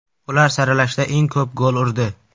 Ular saralashda eng ko‘p gol urdi.